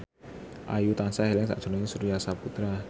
Ayu tansah eling sakjroning Surya Saputra